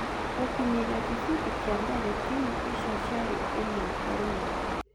Gũkinyĩrĩa kĩbindi kĩa mbere timũ icio ciarĩ ĩmwe ĩmwe.